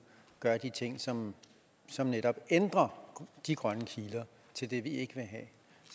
gøre de ting som som netop ændrer de grønne kiler til det vi ikke vil have